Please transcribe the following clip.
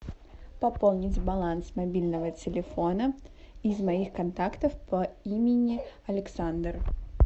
пополнить баланс мобильного телефона из моих контактов по имени александр